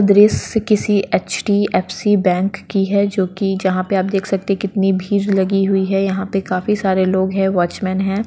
दृश्य किसी एच.डी.एफ.सी. बैंक की है जो कि जहाँ पे आप देख सकते हैं कितनी भीड़ लगी हुई है यहाँ पे काफी सारे लोग हैं वॉचमैन है।